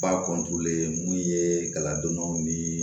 Ba mun ye galadonnaw nii